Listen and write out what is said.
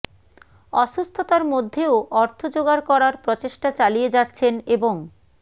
অসুস্থতার মধ্যেও অর্থ জোগাড় করার প্রচেষ্টা চালিয়ে যাচ্ছেন এবং